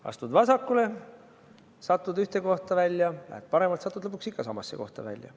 Astud vasakule, satud ühte kohta välja, lähed paremalt, satud lõpuks ikka samasse kohta välja.